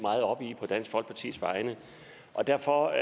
meget op i på dansk folkepartis vegne og derfor